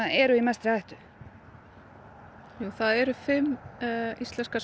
eru í mestri hættu það eru fimm íslenskar